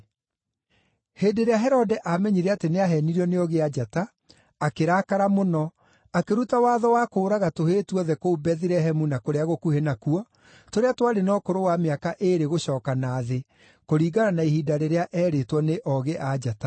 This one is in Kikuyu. Hĩndĩ ĩrĩa Herode aamenyire atĩ nĩaheenirio nĩ Oogĩ-a-Njata, akĩrakara mũno, akĩruta watho wa kũũraga tũhĩĩ tuothe kũu Bethilehemu na kũrĩa gũkuhĩ nakuo, tũrĩa twarĩ na ũkũrũ wa mĩaka ĩĩrĩ gũcooka na thĩ, kũringana na ihinda rĩrĩa eerĩtwo nĩ Oogĩ-a-Njata.